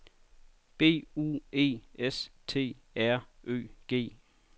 B U E S T R Ø G